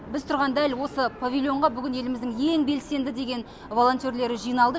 біз тұрған дәл осы павильонға бүгін еліміздің ең белсенді деген волонтерлері жиналды